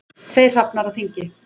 Tveir hrafnar á þingi.